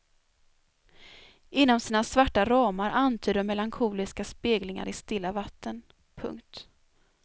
Inom sina svarta ramar antyder de melankoliska speglingar i stilla vatten. punkt